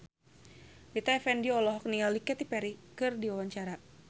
Rita Effendy olohok ningali Katy Perry keur diwawancara